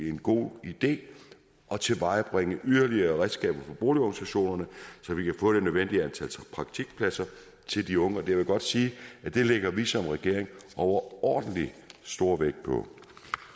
en god idé at tilvejebringe yderligere redskaber for boligorganisationerne så vi kan få det nødvendige antal praktikpladser til de unge jeg vil godt sige at det lægger vi som regering overordentlig stor vægt på